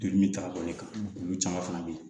Joli min ta ka bɔ i kan olu caman fana bɛ yen